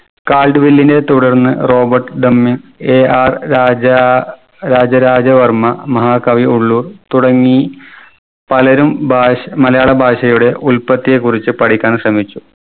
Called വെല്ലിനെ തുടർന്ന് Robert ഡമ്മി AR രാജ രാജരാജ വർമ്മ മഹാകവി ഉള്ളൂർ തുടങ്ങി പലരും ഭാഷ് മലയാള ഭാഷയുടെ ഉല്പത്തിയെക്കുറിച്ച് പഠിക്കാൻ ശ്രമിച്ചു.